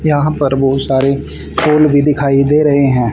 यहां पर बहोत सारे फूल भी दिखाई दे रहे हैं।